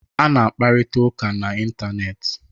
Ana akparita ụka na ịntanetị.